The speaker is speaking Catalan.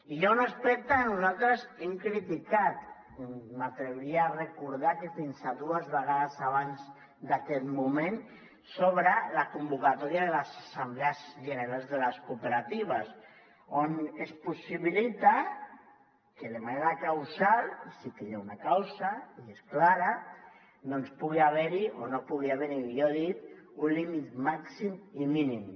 hi ha un aspecte que nosaltres hem criticat m’atreviria a recordar que fins a dues vegades abans d’aquest moment sobre la convocatòria de les assemblees generals de les cooperatives on es possibilita que de manera causal sí que hi ha una causa i és clara doncs pugui haver hi o no pugui haver hi millor dit un límit màxim i mínim